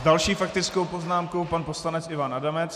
S další faktickou poznámkou pan poslanec Ivan Adamec.